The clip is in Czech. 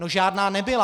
No žádná nebyla.